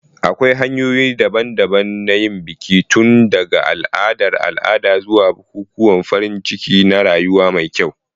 Akwai hanyoyi daban-daban don yin biki, tun daga al'adar al'ada zuwa bukukuwan farin ciki na rayuwa mai kyau.